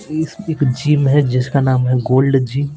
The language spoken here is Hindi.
इस एक जीम है जिसका नाम है गोल्ड जीम --